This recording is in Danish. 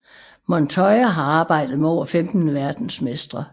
Montoya har arbejdet med over 15 verdensmestre